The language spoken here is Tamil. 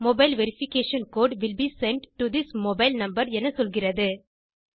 mobile verification code will be sent to this mobile number என சொல்கிறது